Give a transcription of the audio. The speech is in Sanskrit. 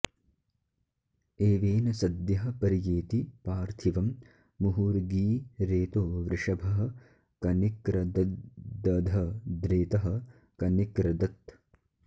एवेन सद्यः पर्येति पार्थिवं मुहुर्गी रेतो वृषभः कनिक्रदद्दधद्रेतः कनिक्रदत्